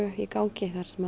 í gangi þar sem